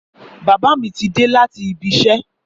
Bàbá mi ti dé láti ibi isẹ́